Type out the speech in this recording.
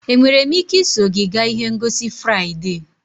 Enwere m ike iso gị gaa ihe ngosi Fraịde?